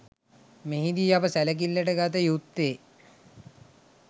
මෙහිදී අප සැලකිල්ලට ගත යුත්තේ